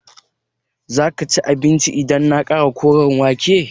Zaka ci abincin idan na ƙara Koren wake?